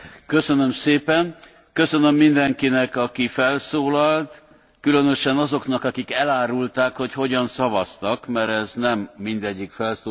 Köszönöm mindenkinek, aki felszólalt, különösen azoknak, akik elárulták, hogy hogyan szavaztak, mert ez nem mindegyik felszólalásnál derült ki.